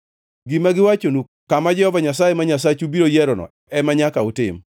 Gima giwachonu kama Jehova Nyasaye ma Nyasachu biro yierono ema nyaka utim.